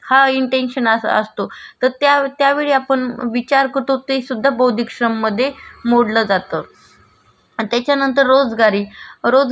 त्याचा नंतर रोजगारी रोजगारी म्हणजे सपोज मी अ कोणाचा इथे तरी कमला जातेय त्याचा बदल्यात ते मला डेलीचे मी दिवसभर आठ तास काम केलं.